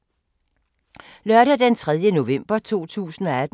Lørdag d. 3. november 2018